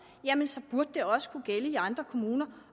jamen så burde det også kunne gælde i andre kommuner